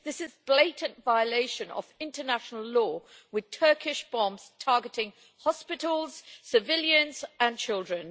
This is a blatant violation of international law, with Turkish bombs targeting hospitals, civilians and children.